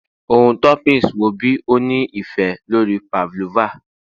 Ohun toppings wo bi o ni ife lori pavlova?